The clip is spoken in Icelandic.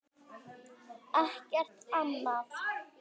Ekkert annað.